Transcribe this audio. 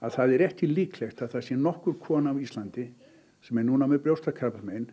það er ekki líklegt að það sé nokkur kona á Íslandi sem er núna með brjóstakrabbamein